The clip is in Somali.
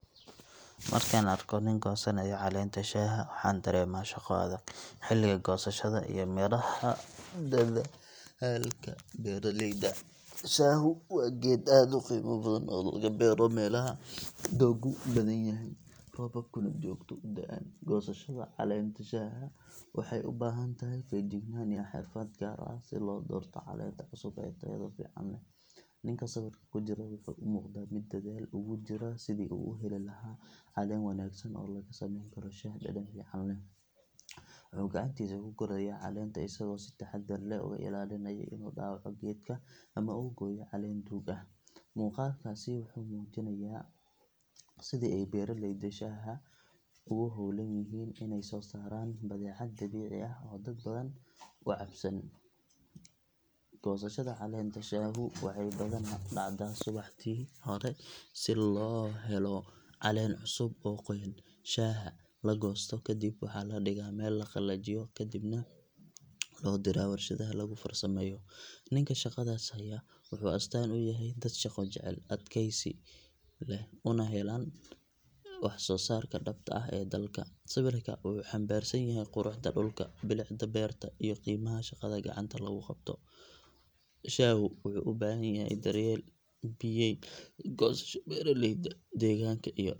Markaan arko nin goosanaya caleenta shaaha waxaan dareemaa shaqo adag, xilliga goosashada iyo midhaha dadaalka beeraleyda. Shaahu waa geed aad u qiimo badan oo laga beero meelaha dooggu badan yahay, roobabkuna joogto u da’aan. Goosashada caleenta shaaha waxay u baahan tahay feejignaan iyo xirfad gaar ah si loo doorto caleenta cusub ee tayada fiican leh. Ninka sawirka ku jira wuxuu u muuqdaa mid dadaal ugu jira sidii uu u heli lahaa caleen wanaagsan oo laga sameyn karo shaah dhadhan fiican leh. Wuxuu gacantiisa ku gurayaa caleenta isagoo si taxaddar leh uga ilaalinaya inuu dhaawaco geedka ama uu gooyo caleen duug ah. Muuqaalkaasi wuxuu muujinayaa sida ay beeraleyda shaahu ugu howlan yihiin inay soo saaraan badeecad dabiici ah oo dad badan u cabsan. Goosashada caleenta shaahu waxay badanaa dhacdaa subaxdii hore si loo helo caleen cusub oo qoyan. Shaaha la goosto kadib waxaa la dhigaa meel la qalajiyo kadibna loo diraa warshadaha lagu farsameeyo. Ninka shaqadaas haya wuxuu astaan u yahay dad shaqo jecel, adkaysi leh una heelan waxsoosaarka dhabta ah ee dalka. Sawirka wuxuu xambaarsan yahay quruxda dhulka, bilicda beerta iyo qiimaha shaqada gacanta lagu qabto. Shaahu wuxuu u baahan yahay daryeel, biyayn, goosasho joogto ah iyo suuqgeyn wanaagsan. Sidaa darteed goosashada shaaha waa hawl muujinaysa isku xirnaanta beeraleyda, deegaanka iyo dhaqaalaha.